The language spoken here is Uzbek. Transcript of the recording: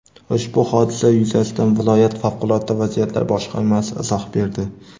Ushbu hodisa yuzasidan viloyat Favqulodda vaziyatlar boshqarmasi izoh berdi.